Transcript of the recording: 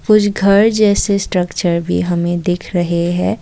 कुछ घर जैसे स्ट्रक्चर भी हमें दिख रहे हैं।